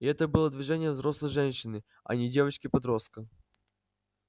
и это было движение взрослой женщины а не девочки-подростка